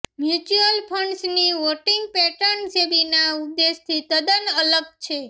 mutual ફંડ્સની voting pattern સેબીના ઉદ્દેશથી તદ્દન અલગ છે